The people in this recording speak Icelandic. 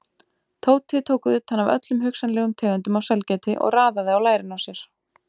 Tóti tók utan af öllum hugsanlegum tegundum af sælgæti og raðaði á lærin á sér.